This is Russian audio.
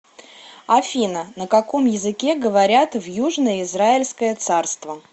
афина на каком языке говорят в южное израильское царство